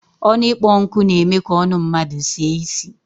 Onu ikpo nku n'eme ka onu mmadu sie isi